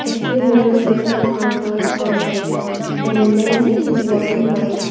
A few motorcycle are parked outside and a man is walking by --